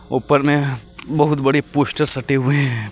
ऊपर में बहुत बड़ी पोस्टर सटे हुए हैं।